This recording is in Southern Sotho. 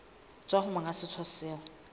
tswa ho monga setsha seo